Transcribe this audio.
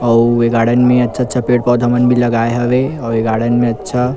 अऊ ए गार्डन में अच्छा-अच्छा पेड़-पौधा मन भी लागए होवे अउ ए गार्डन में अच्छा--